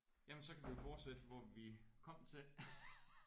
Jamen så kan vi jo fortsætte hvor vi kom til